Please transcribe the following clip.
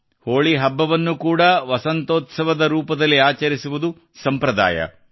ಹೋಳಿ ಹಬ್ಬವನ್ನು ಕೂಡಾ ವಸಂತೋತ್ಸವದ ರೂಪದಲ್ಲಿ ಆಚರಿಸುವುದು ಸಂಪ್ರದಾಯವಾಗಿದೆ